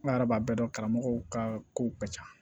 Ala yɛrɛ b'a bɛɛ dɔn karamɔgɔw ka kow ka ca